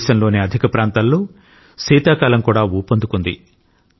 దేశంలోని అధిక ప్రాంతాల్లో శీతాకాలం కూడా ఊపందుకుంది